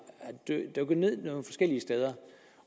dykket ned nogle forskellige steder